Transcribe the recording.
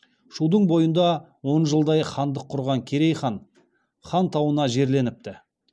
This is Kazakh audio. шудың бойында он жылдай хандық құрған керей хан хан тауына жерленіпті